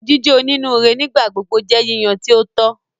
Jíjẹ onínúure nigbagbogbo jẹ yíyan ti o tọ.